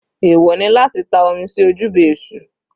Ẹ̀wọ̀ ni láti ta omi sí ojúbọ èṣù.